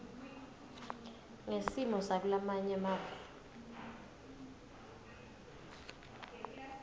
ngesimo sakulamanye mave